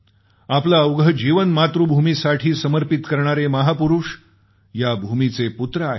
आपलं अवघं जीवन मातृभूमीसाठी समर्पित करणारे महापुरूष या भूमीचे पूत्र आहेत